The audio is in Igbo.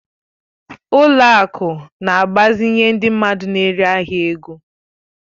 Ụlọ akụ na-agbazinye ndị mmadụ n'ere ahịa ego.